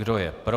Kdo je pro?